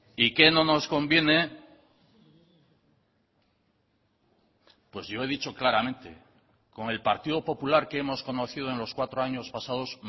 y qué no nos conviene pues yo he dicho claramente con el partido popular que hemos conocido en los cuatro años pasados